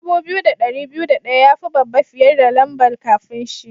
Dubu biyu da dari biyu da daya ya yi babba fiyar da lamba'n kafin shi.